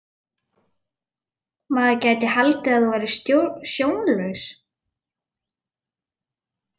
Maður gæti haldið að þú værir sjónlaus!